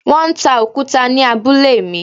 Wọ́n ń ta òkúta ni abúlé mi.